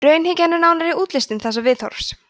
raunhyggjan er nánari útlistun þessa viðhorfs